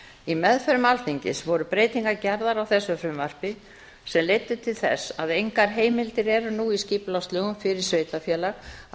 í meðförum alþingis voru breytingar gerðar á þessu frumvarpi sem leiddu til þess að engar heimildir eru nú í skipulagslögum fyrir sveitarfélag að